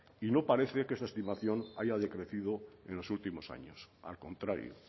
y no parece que esta estimación haya decrecido en los últimos años al contrario